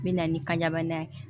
N bɛ na ni kanɲɛbana ye